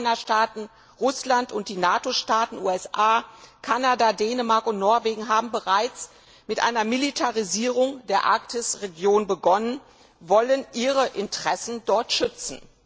Die Anrainerstaaten Russland und die NATO Staaten USA, Kanada, Dänemark und Norwegen haben bereits mit einer Militarisierung der Arktisregion begonnen und wollen ihre Interessen dort schützen.